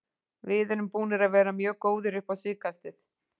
Við erum búnir að vera mjög góðir upp á síðkastið.